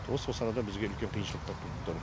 осы арада бізге үлкен қиыншылықтар туып тұр